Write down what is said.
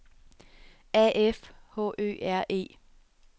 A F H Ø R E